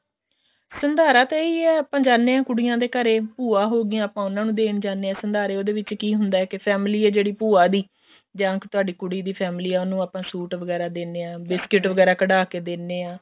ਸੰਧਾਰਾ ਤਾਂ ਇਹੀ ਹੈ ਕੁੜੀਆਂ ਦੇ ਘਰੇ ਭੂਆ ਹੋਗੀਆਂ ਆਪਾਂ ਉਹਨਾ ਨੂੰ ਦੇਣ ਜਾਂਦੇ ਹਾਂ ਸੰਧਾਰੇ ਉਹਦੇ ਵਿੱਚ ਕੀ ਹੁੰਦਾ ਕੇ family ਹੈ ਜਿਹੜੀ ਭੂਆ ਦੀ ਜਾਂ ਫ਼ੇਰ ਤੁਹਾਡੀ ਕੁੜੀ ਦੀ family ਹੈ ਉਹਨੂੰ ਆਪਾਂ ਸੂਟ ਵਗੇਰਾ ਦਿੰਨੇ ਹਾਂ biscuit ਵਗੇਰਾ ਕਢਾ ਕੇ ਦਿੰਨੇ ਹਾਂ